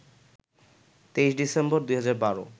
২৩ ডিসেম্বর ২০১২